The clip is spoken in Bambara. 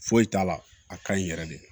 Foyi t'a la a ka ɲi yɛrɛ de